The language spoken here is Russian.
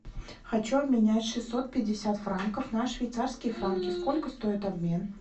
хочу обменять шестьсот пятьдесят франков на швейцарские франки сколько стоит обмен